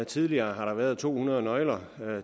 tidligere har der været to hundrede nøgler